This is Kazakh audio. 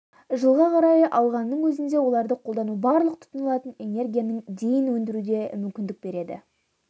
жылға қарай алғанның өзінде оларды қолдану барлық тұтынылатын энергияның дейін өндіруге мүмкіндік береді